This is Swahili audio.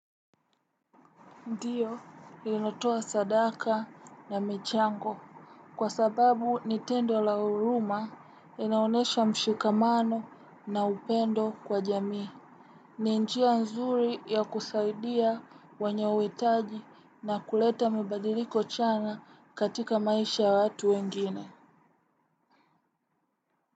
Ndiyo, ninatoa sadaka na michango. Kwa sababu ni tendo la huruma inaonesha mshikamano na upendo kwa jamii. Ni njia nzuri ya kusaidia wenye uhitaji na kuleta mabadiliko chanya katika maisha ya watu wengine.